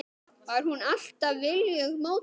Var hún alltaf viljugt módel?